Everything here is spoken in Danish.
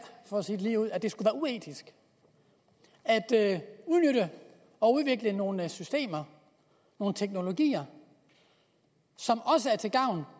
for at sige det ligeud at det skulle være uetisk at udnytte og udvikle nogle systemer nogle teknologier som også er til gavn